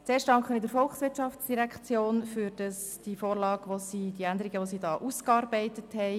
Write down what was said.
Zuerst danken wir der VOL für die Vorlage, die sie ausgearbeitet hat.